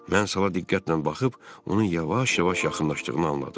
Mən sala diqqətlə baxıb, onun yavaş-yavaş yaxınlaşdığını anladım.